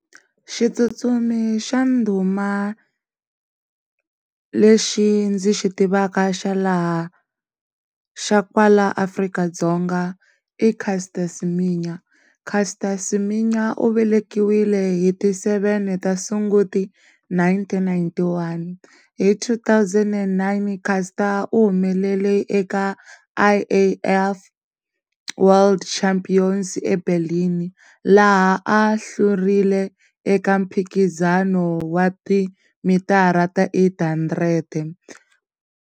Xi tsutsuma hi xa ndhuma lexi ndzi xi tivaka xa laha, xa kwala Afrika-Dzonga i Caster Siminya, Caster Siminya u velekiwile hi ti seven ta Sunguti nineteen ninety-one, hi two-thousand and nine Caster u humelela eka I_A_F World Champions embelin laha a hlurile eka mphikizano wa timitara ta eight hundred.